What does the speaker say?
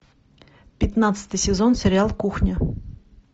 пятнадцатый сезон сериал кухня